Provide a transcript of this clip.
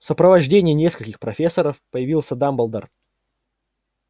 в сопровождении нескольких профессоров появился дамблдор